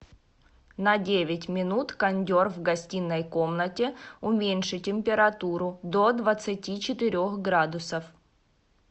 на девять минут кондер в гостиной комнате уменьши температуру до двадцати четырех градусов